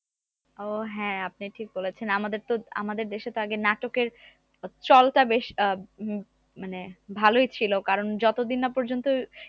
ও হ্যাঁ আপনি ঠিক বলেছেন আমাদের তো আমাদের দেশে তো আগে নাটকের চল টা বেশ আহ উম মানে ভালোই ছিল কারণ যতদিন না পর্যন্ত